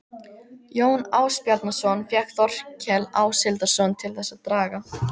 Jón Ásbjarnarson fékk Þórkel Áshildarson til þess að draga